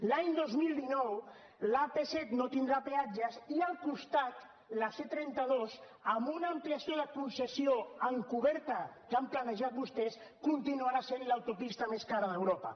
l’any dos mil dinou l’apset no tindrà peatges i al costat la ctrenta dos amb una ampliació de concessió encoberta que han planejat vostès continuarà sent l’autopista més cara d’europa